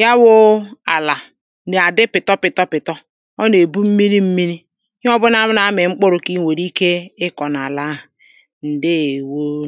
Ya wụ́ụ́ àlà Na-adi pìtọ́ pìtọ́ pìtọ́ Ọ na-ebu mmiri mmiri Ihē ọ̀bụná na-ami mkpụrụ ki iṅwērē ikē ikọ n’ àlà ahụ Ṅdēēwōōō